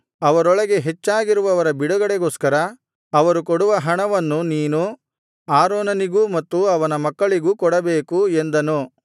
ಅವರೊಳಗೆ ಹೆಚ್ಚಾಗಿರುವವರ ಬಿಡುಗಡೆಗೋಸ್ಕರ ಅವರು ಕೊಡುವ ಹಣವನ್ನು ನೀನು ಆರೋನನಿಗೂ ಮತ್ತು ಅವನ ಮಕ್ಕಳಿಗೂ ಕೊಡಬೇಕು ಎಂದನು